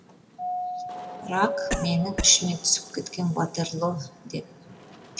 рак менің ішіме түсіп кеткен ватерлоо деп